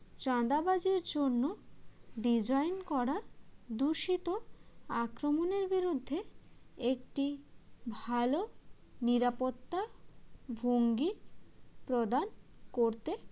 চাঁদাবাজির জন্য design করা দূষিত আক্রমণের বিরুদ্ধে একটি ভাল নিরাপত্তা ভঙ্গি প্রদান করতে